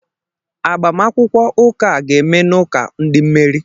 Agbamakwụkwọ ụka a ga-eme n'ụka ndị mmeri..